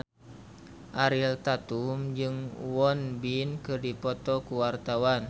Ariel Tatum jeung Won Bin keur dipoto ku wartawan